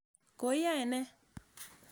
Koi yae ne?